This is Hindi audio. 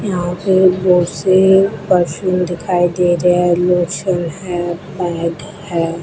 यहां पे बहुत से परफ्यूम दिखाई दे रहे हैं लोशन है बैग है।